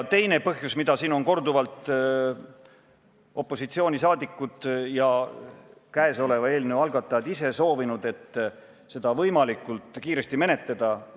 Teine põhjus, mida opositsiooni liikmed ja käesoleva eelnõu algatajad ise on soovinud, on see, et seda võimalikult kiiresti menetletaks.